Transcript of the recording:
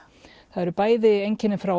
það eru bæði einkenni frá